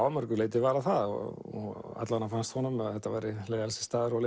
að mörgu leyti var hann það og alla vega fannst honum að þetta væri leiðinlegasti staður og